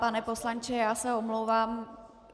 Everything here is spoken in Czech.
Pane poslanče, já se omlouvám.